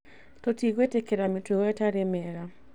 Tũtigwĩtĩkĩria mĩtugo ĩtarĩ mĩega